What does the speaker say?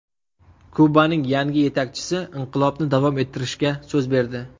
Kubaning yangi yetakchisi inqilobni davom ettirishga so‘z berdi.